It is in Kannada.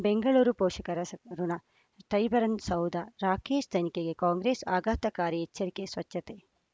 ಬೆಂಗಳೂರು ಪೋಷಕರ ಸ್ ಋಣ ಟೈಗರನ್ ಸೌಧ ರಾಕೇಶ್ ತನಿಖೆಗೆ ಕಾಂಗ್ರೆಸ್ ಆಘಾತಕಾರಿ ಎಚ್ಚರಿಕೆ ಸ್ವಚ್ಛತೆ